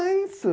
É isso.